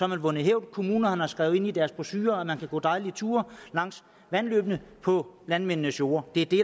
man vundet hævd kommunerne har skrevet ind i deres brochurer at man kan gå dejlige ture langs vandløbene på landmændenes jorde det er det